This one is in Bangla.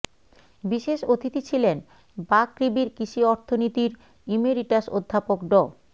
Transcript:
বিশেষ অতিথি ছিলেন বাকৃবির কৃষি অর্থনীতির ইমেরিটাস অধ্যাপক ড